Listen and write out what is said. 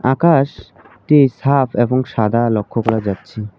আকাশ -টি সাফ এবং সাদা লক্ষ করা যাচ্ছে।